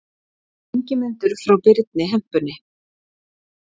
Ingimundur frá Birni hempunni.